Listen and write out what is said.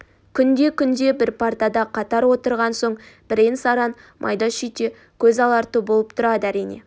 күнде-күнде бір партада қатар отырған соң бірен-саран майда-шүйде көз аларту болып тұрады әрине